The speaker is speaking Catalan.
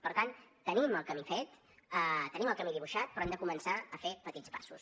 per tant tenim el camí fet tenim el camí dibuixat però hem de començar a fer petits passos